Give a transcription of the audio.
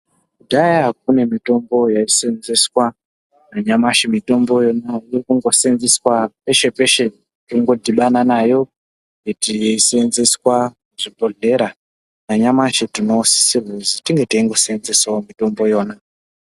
Kudhaya kune mitombo yaiseenzeswa nanyamashi mitomboyo inoseenzeswa peshe peshe. Kungodhibana nayo ichiseenzeswa kuzvibhondlera. Nanyamashi tinosisirwa kuti tinge teingoseenzesawo mitombo iyona.